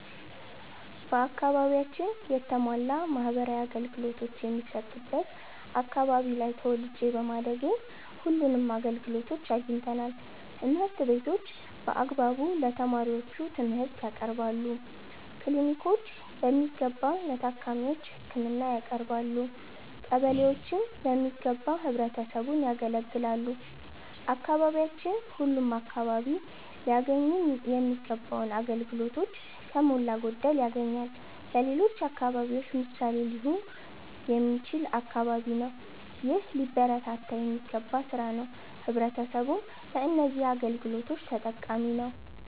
በአከባቢያችን የተሟላ ማህበራዊ አገልገሎቶች የሚሠጥ አከባቢ ላይ ተወልጄ በማደጌ ሁለንም አገልግሎቶች አግኝተናል። ትምህርት ቤቶች በአግባቡ ለተማሪዎቹ ትምርህት ያቀርባሉ። ክሊኒኮች በሚገባ ለታካሚዎች ህክምና ያቀረባሉ። ቀበሌዎችም በሚገባ ህብረተሰቡን ያገለግላሉ። አካባቢያችን ሁለም አከባቢ ላያገኙ ሚገባውን አገልግሎቶች ከሞላ ጎደል ያገኛል። ለሌሎች አከባቢዎች ምሣሌ ሊሆን የሚችል አከባቢ ነው። ይህ ሊበረታታ የሚገባ ስራ ነው። ህብረተሰቡም በነዚህ አገልግሎቶች ተጠቃሚ ነዉ።